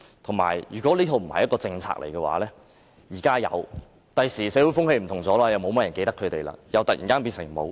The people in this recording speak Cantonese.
況且，如果這並非一套政策，現時有，日後社會風氣不同，沒有太多人記得他們，又會突然變成沒有。